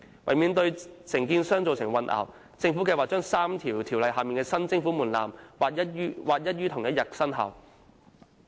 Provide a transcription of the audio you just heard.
為免對承建商造成混淆，政府計劃將3項條例下的新徵款門檻劃一於同日生效。